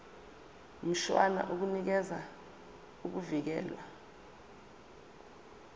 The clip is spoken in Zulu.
mshwana unikeza ukuvikelwa